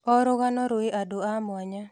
O rũgano rwĩ andũ a mwanya.